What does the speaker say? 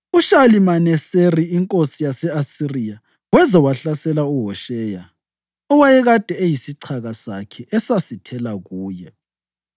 UShalimaneseri inkosi yase-Asiriya weza wahlasela uHosheya, owayekade eyisichaka sakhe esasithela kuye.